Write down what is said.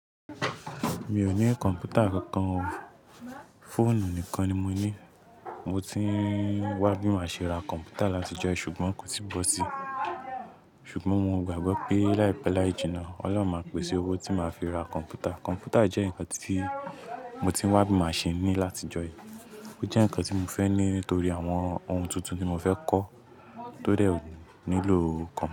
Mi ò ní kọ̀m̀pútà kankan o, fóònù nìkan ni mo ní. Mo ti ń wá bí màá ṣe ra kọ̀m̀pútà láti ọjọ́ yìí ṣùgbọ́n kò tíì bọ́ sí. Ṣùgbọ́n mo gbàgbọ́ pé láìpẹ́ láì jina, Ọlọ́run máa pèsè owó tí màá fi ra kọ̀m̀pútà. Kọ̀m̀pútà jẹ́ nǹkan tí mo ti ń wá bí màá ṣe ní láti ọjọ́ yìí. Ó jẹ́ nǹkan tí mo fẹ́ ní nítorí àwọn ohun tuntun tí mo fẹ́ kọ́ tó dẹ̀ ò nílò kọ̀m̀pútà.